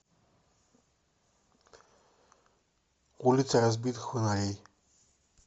улицы разбитых фонарей